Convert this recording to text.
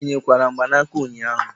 Ị nyikwara mgbanaka ụnyahụ?